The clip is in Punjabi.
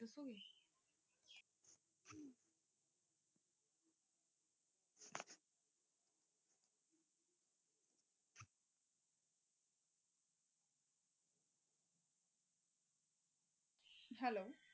Hello